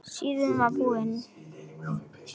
Síðan var það búið.